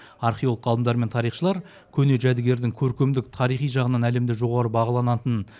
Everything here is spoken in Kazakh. археолог ғалымдар мен тарихшылар көне жәдігердің көркемдік тарихи жағынан әлемде жоғарғы бағаланатын